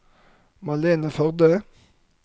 Malene Førde